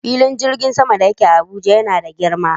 Filin jirgin sama da yake Abuja yana da girma.